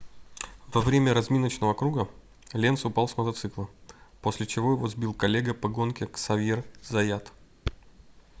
во время разминочного круга ленц упал с мотоцикла после чего его сбил коллега по гонке ксавьер заят